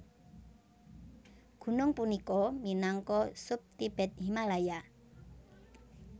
Gunung punika minangka sub Tibet Himalaya